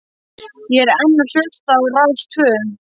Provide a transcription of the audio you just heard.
Ég er enn að hlusta á Rás tvö.